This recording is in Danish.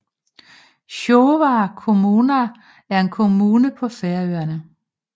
Sjóvar kommuna er en kommune på Færøerne